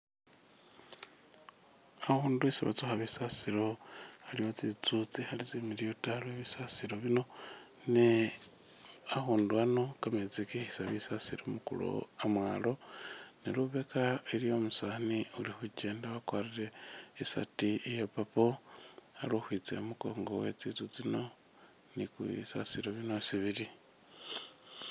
Akhundu isi batsukha bisasilo aliwo tsitsu tsi khali tsimiliyu ta lwe bisasilo bino ne akhundu ano kametsi kikhisa bisasilo mu ku lowo amwalo ne lubeka iliwo umusani uli khukyenda wakwarire isaati iya purple ali ukhwitsa i mukongo we tsitsu tsino ni bisasilo bino isi bili.